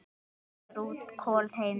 Fiskur út, kol heim.